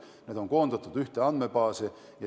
Need on koondatud ühte andmebaasi.